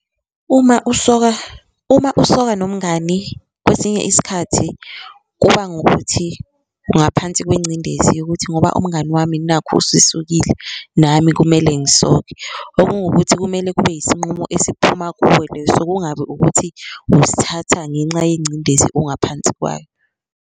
Uma usoka, uma usoka nomngani kwesinye isikhathi kuba ngukuthi ungaphansi kwencindezi yokuthi ngoba umngani wami nakhu usesokile nami kumele ngisoke. Okuwungukuthi kumele kube yisinqumo esiphuma kuwe leso kungabi ukuthi usithatha ngenxa yencindezi ongaphansi kwayo.